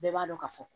Bɛɛ b'a dɔn ka fɔ